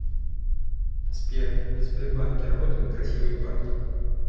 сбер в сбербанке работают красивые парни